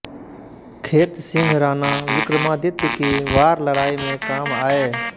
खेत सिंह राणा विक्रमादित्य की वारलड़ाई में काम आए